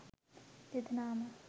දෙදෙනාම